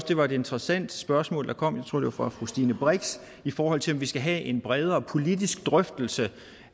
det var et interessant spørgsmål der kom jeg tror det var fra fru stine brix i forhold til om vi skal have en bredere politisk drøftelse